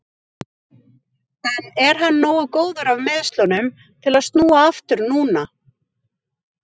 En er hann nógu góður af meiðslunum til að snúa aftur núna?